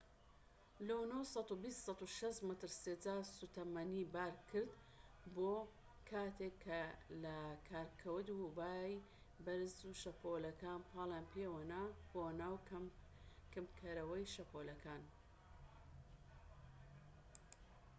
لونۆ 120-160 مەتر سێجا سوتەمەنی بار کرد بوو کاتێک کە لە کار کەوت و بای بەرز و شەپۆلەکان پاڵیان پێوەنا بۆ ناو کپکەرەوەی شەپۆڵەکان